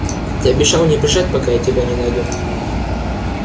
ты обещал не бежать пока я тебя не найду